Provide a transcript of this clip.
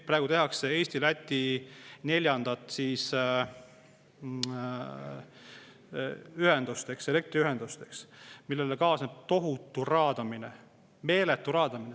Praegu tehakse Eesti ja Läti vahele neljandat elektriühendust, millega kaasneb tohutu raadamine, meeletu raadamine.